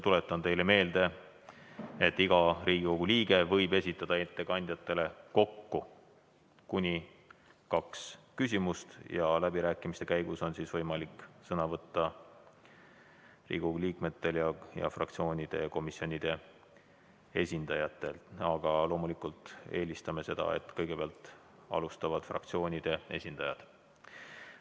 Tuletan teile meelde, et iga Riigikogu liige võib esitada ettekandjatele kokku kuni kaks küsimust ja läbirääkimiste käigus on võimalik sõna võtta Riigikogu liikmetel ning fraktsioonide ja komisjonide esindajatel, aga loomulikult eelistame seda, et kõigepealt kõnelevad fraktsioonide esindajad.